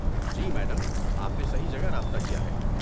جی، madam! آپ نے صحیح جگہ رابطہ کیا ہے۔